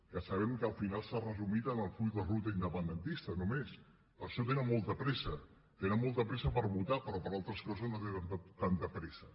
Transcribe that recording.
que sabem que al final s’ha resumit en el full de ruta independentista només per això tenen molta pressa tenen molta pressa per votar però per a altres coses no tenen tanta pressa